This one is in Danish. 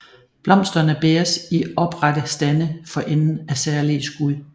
Blomsterne bæres i oprette stande for enden af særlige skud